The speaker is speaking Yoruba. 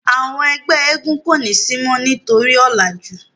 àwọn ẹgbẹ éégún ko ni si mo nitori ọlaju.